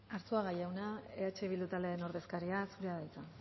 arzuaga jauna eh bildu taldearen ordezkaria zurea da hitza